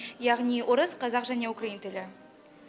яғни орыс қазақ және украин тілі